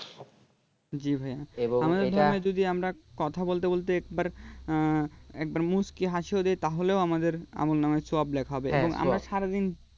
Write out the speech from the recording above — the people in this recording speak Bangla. জি ভাইয়া এবং এটা আমাদের ধর্মে যদি আমরা কথা বলতে বলতে একবার একবার মুচকি হাসি ওদের তাহলেও আমাদের আমলনামায় . লেখা হবে হ্যাঁ সব এবং আমরা সারা দিন